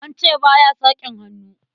An ce ba ya sakin hannu.